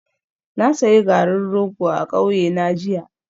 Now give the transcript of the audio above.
Na sayi garin rogo a kauyena jiya